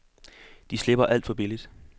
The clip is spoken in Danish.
De slipper alt for billigt.